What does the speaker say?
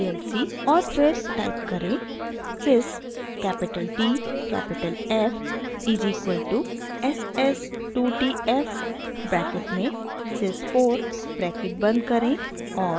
और फिर टाइप करें: sys capital t capital f is equal to s s 2 t f bracket में sys 4 bracket बंद करें और